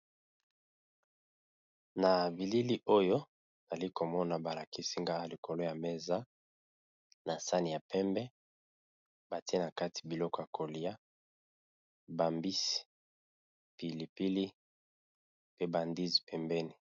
Na bilili oyo nazali komona balakisi ngaya likolo ya mesa na sani ya pembe, batie na kati biloko y kolia bambisi pilipili pe bandisi pembeni.